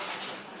Qoy qoyaq.